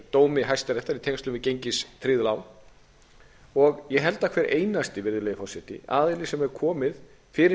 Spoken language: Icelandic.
dómi hæstaréttar í tengslum við gengistryggð lán og ég held að hver einasti virðulegi forseti aðili er hefur komið fyrir